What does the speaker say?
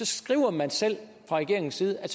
skriver man selv fra regeringens side at